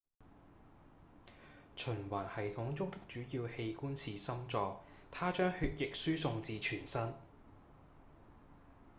循環系統中的主要器官是心臟它將血液輸送至全身